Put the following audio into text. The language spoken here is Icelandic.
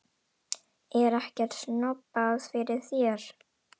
Er ekkert snobbað fyrir þér?